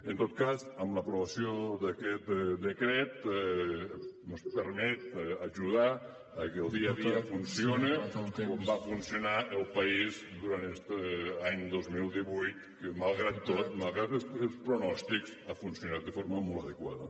en tot cas amb l’aprovació d’aquest decret ens permet ajudar que el dia a dia funcioni com va funcionar el país durant este any dos mil divuit que malgrat tot malgrat els pronòstics ha funcionat de forma molt adequada